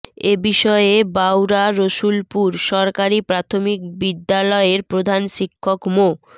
এ বিষয়ে বাউরা রসুলপুর সরকারি প্রাথমিক বিদ্যালয়ের প্রধান শিক্ষক মো